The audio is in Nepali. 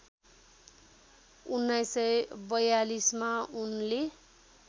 १९४२ मा उनले